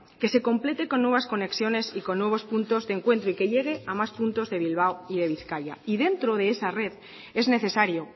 que se complete con nuevas conexiones y con nuevos puntos de encuentro y que llegue am más puntos de bilbao y de bizkaia y dentro de esa red es necesario